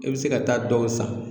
I bɛ se ka taa dɔw san.